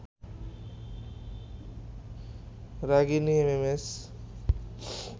Ragini MMS